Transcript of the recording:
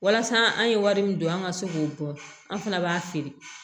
Walasa an ye wari min don an ka se k'o dɔn an fana b'a feere